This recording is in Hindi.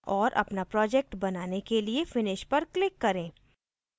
और अपना project बनाने के लिए finish पर click करें